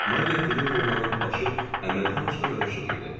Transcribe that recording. Mariya Filippovnanın başı əməlli başlı qarışıq idi.